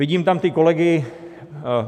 Vidím tam ty kolegy.